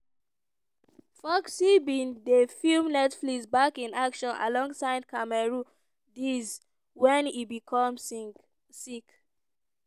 foxx bin dey film netflix back in action alongside cameron diaz wen e become sick.